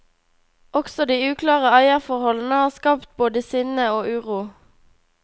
Også de uklare eierforholdene har skapt både sinne og uro.